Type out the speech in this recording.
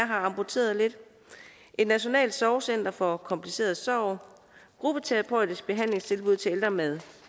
har amputeret lidt et nationalt sorgcenter for kompliceret sorg gruppeterapeutiske behandlingstilbud til ældre med